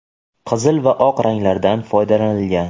qizil va oq ranglardan foydalanilgan.